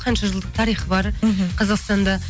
қанша жылдық тарихы бар мхм қазақстанда